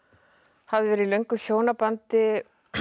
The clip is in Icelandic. hafði verið í löngu hjónabandi